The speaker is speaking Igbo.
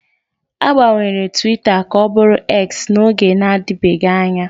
A gbanwere Twita ka ọ bụrụ X n'oge na-adịbeghị anya